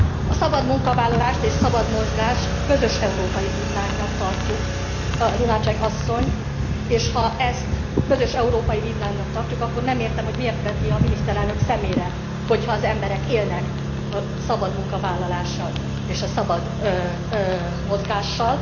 A szabad munkavállalást és szabad mozgást közös európai vívmánynak tartjuk, Lunacek asszony, és ha ezt közös európai vívmánynak tartjuk, akkor nem értem, hogy miért veti a miniszterelnök szemére, hogyha az emberek élnek a szabad munkavállalással és a szabad mozgással.